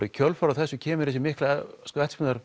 í kjölfarið á þessu kemur þessi mikla